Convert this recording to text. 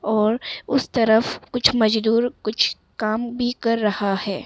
और उस तरफ कुछ मजदूर कुछ काम भी कर रहा है।